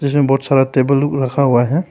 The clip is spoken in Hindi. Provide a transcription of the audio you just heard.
इसमें बहुत सारा टेबल लोग रखा हुआ है।